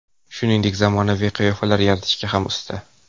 Shuningdek, u zamonaviy qiyofalar yaratishga ham usta.